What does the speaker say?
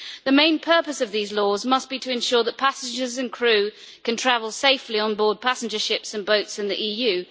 The main purpose of these laws must be to ensure that passengers and crew can travel safely on board passenger ships and boats in the EU.